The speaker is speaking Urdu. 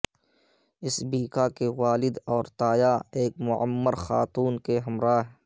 سبیکا کے والد اور تایا ایک معمر خاتون کے ہمراہ